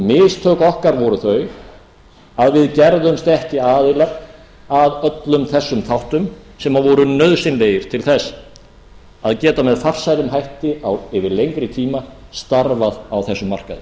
mistök okkar voru þau að við gerðumst ekki aðilar að öllum þessum þáttum sem voru nauðsynlegir til þess að geta með farsælum hætti yfir lengri tíma starfað á þessum markaði